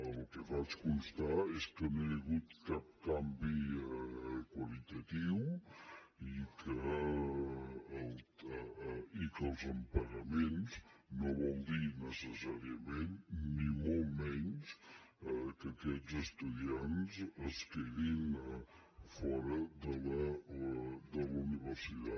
el que faig constar és que no hi ha hagut cap canvi qualitatiu i que els impagaments no vol dir necessàriament ni molt menys que aquests estudiants es quedin fora de la universitat